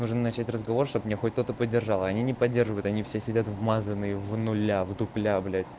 можно начать разговор чтобы меня хоть кто-то поддержал а они поддерживают они все сидят в мазаные внуля в дупля блять